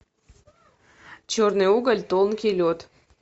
черный уголь тонкий лед